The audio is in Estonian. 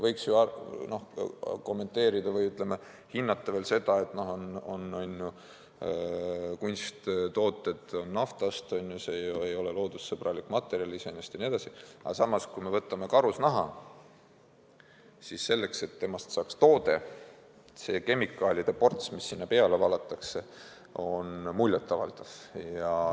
Võiks ju kommenteerida või, ütleme, hinnata veel seda, et kunsttooted on naftast, on ju, see ei ole loodussõbralik materjal iseenesest jne, aga samas, kui me võtame karusnaha, siis selleks, et sellest saaks toode, see kemikaalide ports, mis sinna peale valatakse, on muljet avaldav.